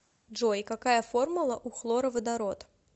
джой какая формула у хлороводород